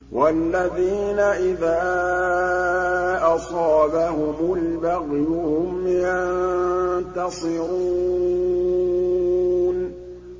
وَالَّذِينَ إِذَا أَصَابَهُمُ الْبَغْيُ هُمْ يَنتَصِرُونَ